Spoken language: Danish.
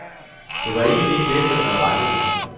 Det var ikke lige det, man havde regnet med.